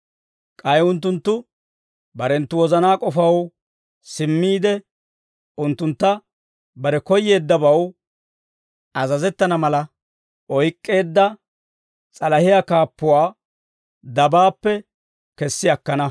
K'ay unttunttu barenttu wozanaa k'ofaw simmiide, unttuntta bare koyyeeddabaw azazettana mala oyk'k'eedda s'alahiyaa kaappuwaa dabaappe kessi akkana.